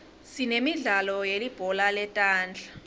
sinemidlalo yelibhola letandla